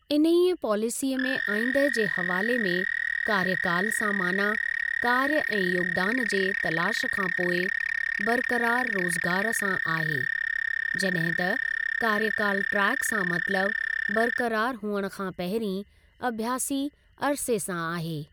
इन्हीअ पॉलिसीअ में आईंदह जे हवाले में ' कार्यकाल' सां माना कार्य ऐं योगदान जे तलाश खां पोइ बरक़रार रोज़गार सां आहे, जड॒हिं त ‘कार्यकाल ट्रैक' सां मतलब बरक़रार हुअण खां पहिरीं अभ्यासी अरिसे सां आहे।